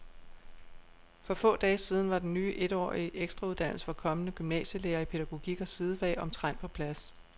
For få dage siden var den ny etårige ekstrauddannelse for kommende gymnasielærere i pædagogik og sidefag omtrent på plads.